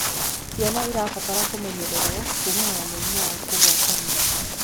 Ciana irabatara kumenyererwo kumana na mĩrimũ ya kugwatania